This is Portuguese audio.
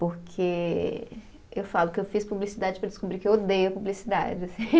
Porque eu falo que eu fiz publicidade para descobrir que eu odeio publicidade.